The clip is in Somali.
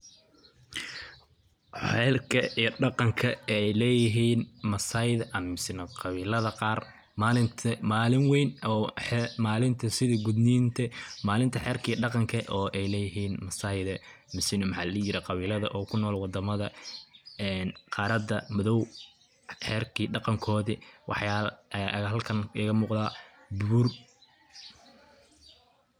Xelka iyo dhaqanka ay leeyihin maasaida misna qabilada qaar malinta malin wayn oo malinta sida gudninta malinta xerka iyo dhanqanka oo ay leeyihin maasaida misna maxaa ladihi jire qabilada oo kunool wadamada ee qarada madow xerka iyo dhaqankoodi waxyala aya halkan iga muqda buur.